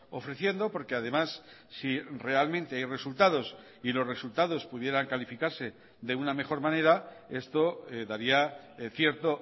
ofreciendo porque además si realmente hay resultados y los resultados pudieran calificarse de una mejor manera esto daría cierto